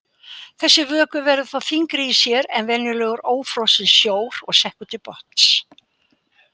Þessi vökvi verður þá þyngri í sér en venjulegur ófrosinn sjór og sekkur til botns.